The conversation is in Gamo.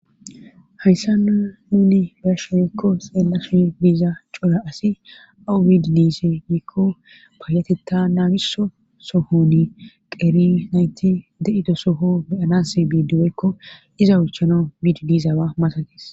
hayssa n nuni bersho wekko xeella so biiza cola asi awu bididise yiikko paayatetta naagiso sohoni qeri nayti de7ido soho beyanas biidiwekko iza uchana bididisawa masades